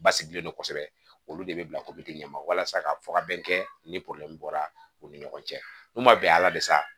Basigilen don kosɛbɛ olu de bɛ bila ɲɛ ma walasa ka fɔ ka bɛn kɛ ni bɔra u ni ɲɔgɔn cɛ n'u ma bɛn a la bi sa